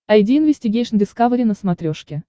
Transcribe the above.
айди инвестигейшн дискавери на смотрешке